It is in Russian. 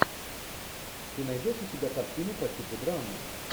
ты найдешь у себя картину по типу драмы